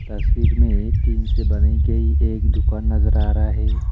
तस्वीर में एक टीन से बनाई गई एक दुकान नजर आ रहा है।